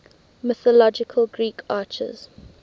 mythological greek archers